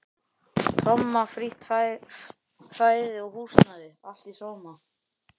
Tomma, frítt fæði og húsnæði, allt í sóma.